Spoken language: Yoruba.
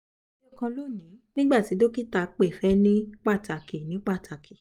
lo eyokan loni nigba ti dokita pe fe ni pataki ni pataki